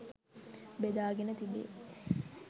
බෙදාගෙන තිබේ.